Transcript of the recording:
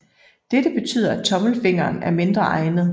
Dette betyder at tommelfingeren er mindre egnet